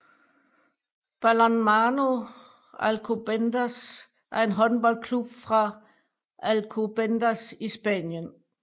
Balonmano Alcobendas er en håndboldklub fra Alcobendas i Spanien